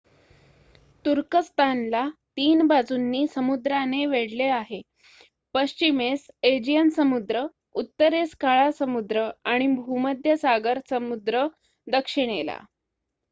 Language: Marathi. तुर्कस्थान ला 3 बाजूनी समुद्रांनी वेढले आहे पश्चिमेस एजियन समुद्र उत्तरेस काळा समुद्र आणि भूमध्य सागर समुद्र दक्षिणेला